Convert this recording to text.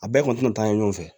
A bɛɛ kɔni tɛna taa ɲɛfɛ